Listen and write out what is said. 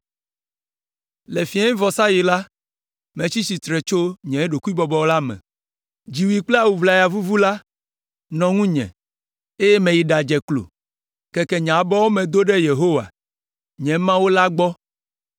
Le fiẽvɔsaɣi la, metsi tsitre tso nye ɖokuibɔbɔ la me, dziwui kple awu ʋlaya vuvu la nɔ ŋunye, eye meyi ɖadze klo, keke nye abɔwo me do ɖe Yehowa, nye Mawu la gbɔ,